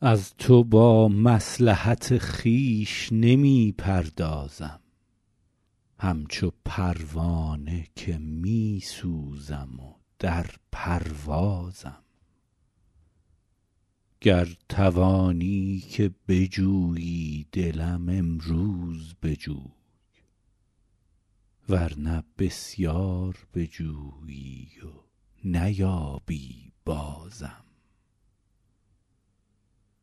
از تو با مصلحت خویش نمی پردازم همچو پروانه که می سوزم و در پروازم گر توانی که بجویی دلم امروز بجوی ور نه بسیار بجویی و نیابی بازم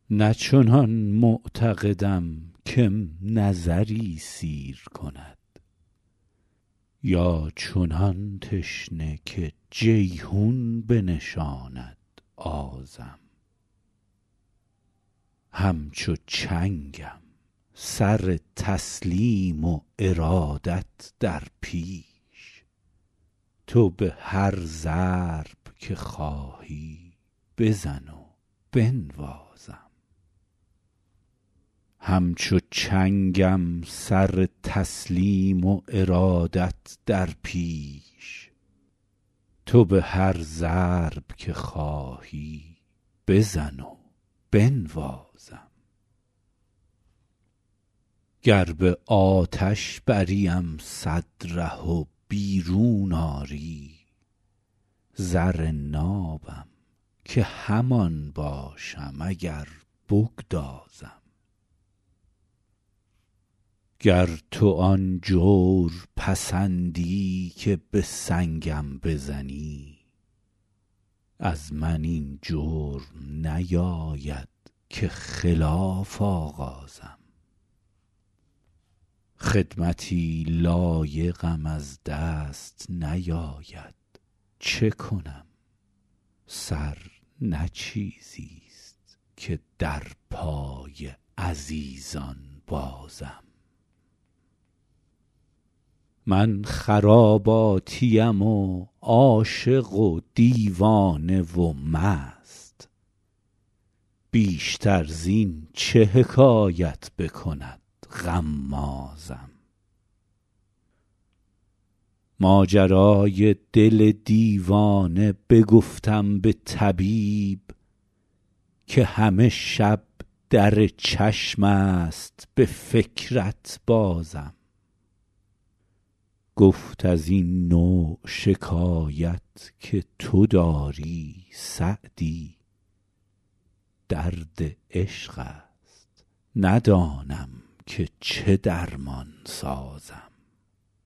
نه چنان معتقدم که م نظری سیر کند یا چنان تشنه که جیحون بنشاند آزم همچو چنگم سر تسلیم و ارادت در پیش تو به هر ضرب که خواهی بزن و بنوازم گر به آتش بریم صد ره و بیرون آری زر نابم که همان باشم اگر بگدازم گر تو آن جور پسندی که به سنگم بزنی از من این جرم نیاید که خلاف آغازم خدمتی لایقم از دست نیاید چه کنم سر نه چیزیست که در پای عزیزان بازم من خراباتیم و عاشق و دیوانه و مست بیشتر زین چه حکایت بکند غمازم ماجرای دل دیوانه بگفتم به طبیب که همه شب در چشم است به فکرت بازم گفت از این نوع شکایت که تو داری سعدی درد عشق است ندانم که چه درمان سازم